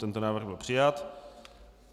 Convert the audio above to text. Tento návrh byl přijat.